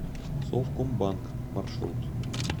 совкомбанк маршрут